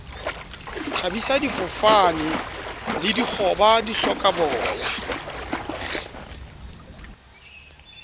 thabisa difofane le dikgoba dihlokaboya